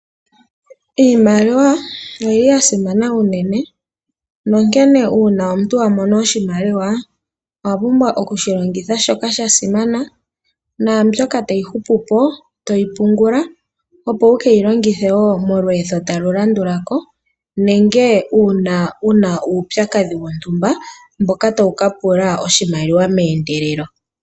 Iimaliwa oyili ya simana uunene nonkene uuna omuntu wa mono oshimaliwa owa pumbwa okushi longitha shoka sha simana na mbyoka tayi hupupo toyi pungula opo wukeyi longithewo molweetho talu landulako nenge uuna wuna uupyakadhi wontumba mboka tawu ka pula oshimaliwa meendelelo.